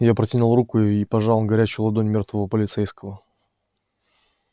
я протянул руку и пожал горячую ладонь мёртвого полицейского